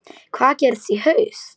Hvað gerist í haust?